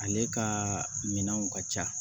Ale ka minɛnw ka ca